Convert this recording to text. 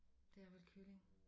Det er vel kylling